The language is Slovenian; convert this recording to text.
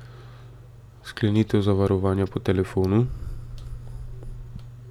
Sklenitev zavarovanja po telefonu?